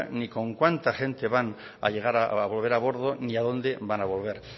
ni con cuánta gente van a volver a bordo ni a dónde van a volver